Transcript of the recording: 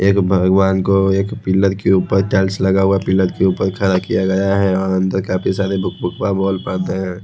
एक भगवान को एक पिलर के ऊपर टाइल्स लगा हुआ है पिलर के ऊपर खड़ा किया गया है वहाँ अंदर काफी सारे हैँ।